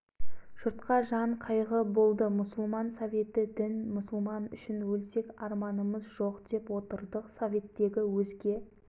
сол аласапыран уақытта басқа сап ете түскен ой барып сол құранды алып шығу еді